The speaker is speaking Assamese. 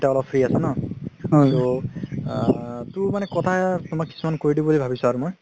তুমি এতিয়া অলপ free আছা ন so মানে কিছুমান কথা কৈ দিও বুলি ভাবিছো মই